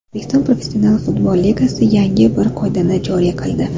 O‘zbekiston Professional futbol Ligasi yangi bir qoidani joriy qildi.